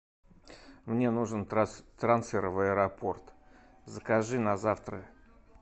мне нужен трансфер в аэропорт закажи на завтра